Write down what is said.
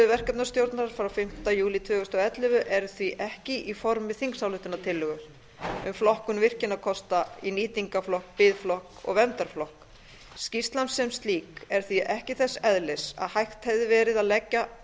verkefnastjórnar frá fimmti júlí tvö þúsund og ellefu eru því ekki í formi þingsályktunartillögu um flokkun virkjunarkosta í nýtingarflokk biðflokk og verndarflokk skýrslan sem slík er því ekki þess eðlis að hægt hefði verið að leggja